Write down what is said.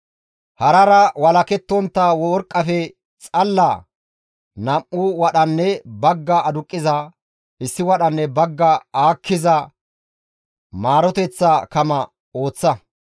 «Harara walakettontta worqqafe xalala nam7u wadhanne bagga aduqqiza, issi wadhanne bagga aakkiza maaroteththa kama ooththa.